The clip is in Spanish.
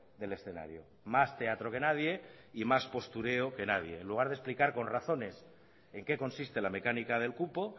del escenario más teatro que nadie y más postureo que nadie en lugar de explicar con razones en qué consiste la mecánica del cupo